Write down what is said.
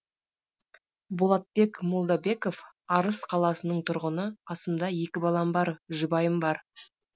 болатбек молдабеков арыс қаласының тұрғыны қасымда екі балам бар жұбайым бар